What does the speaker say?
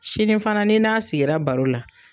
Sini fana n'i n'a sigira baro la